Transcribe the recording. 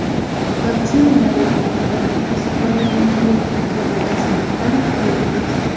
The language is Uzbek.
Vaksinalar yordamida biz poliomiyelit kabi kasallikdan qutulganmiz.